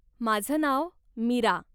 माझं नाव मीरा.